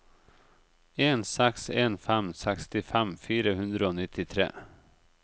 en seks en fem sekstifem fire hundre og nittitre